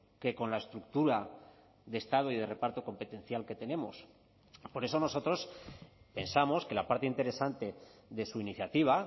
que con la estructura de estado y de reparto competencial que tenemos por eso nosotros pensamos que la parte interesante de su iniciativa